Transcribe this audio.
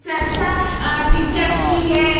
से अच्छा अ टीचर्स भी है।